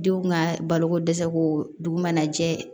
Denw ka balo ko dɛsɛ ko duguma na jɛ